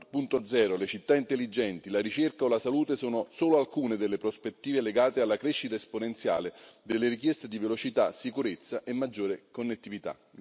4.0, le città intelligenti, la ricerca o la salute sono solo alcune delle prospettive legate alla crescita esponenziale delle richieste di velocità, sicurezza e maggiore connettività.